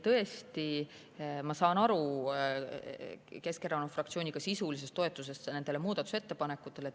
Tõesti, ma saan aru Keskerakonna fraktsiooni sisulisest toetusest nendele muudatusettepanekutele.